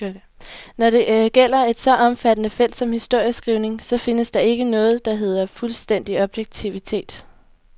Når det gælder et så omfattende felt som historieskrivningen, så findes der ikke noget, der hedder fuldstændig objektivitet.